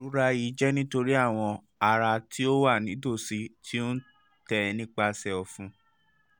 irora yii jẹ nitori awọn ara ti o wa nitosi ti o n tẹ nipasẹ ọfun